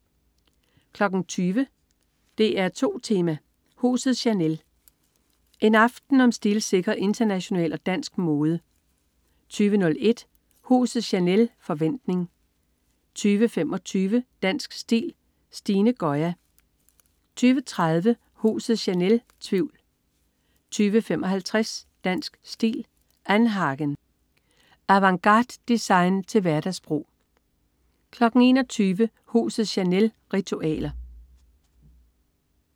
20.00 DR2 Tema: Huset Chanel. En aften om stilsikker international og dansk mode 20.01 Huset Chanel. Forventning 20.25 Dansk Stil: Stine Goya 20.30 Huset Chanel. Tvivl 20.55 Dansk Stil: annhagen. Avantgardedesign til hverdagsbrug 21.00 Huset Chanel. Ritualer